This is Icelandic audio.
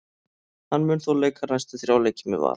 Hann mun þó leika næstu þrjá leiki með Val.